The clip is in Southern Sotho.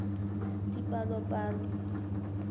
dipalopalo